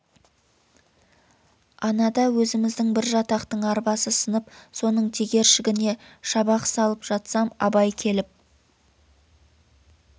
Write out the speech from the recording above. анада өзіміздің бір жатақтын арбасы сынып соның тегершігіне шабақ салып жатсам абай келіп